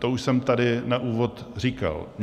To už jsem tady na úvod říkal.